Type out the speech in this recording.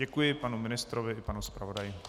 Děkuji panu ministrovi i panu zpravodaji.